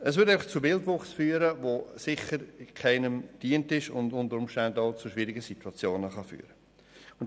Es würde zu Wildwuchs führen, der keinem dienen würde und unter Umständen zu schwierigen Situationen führen könnte.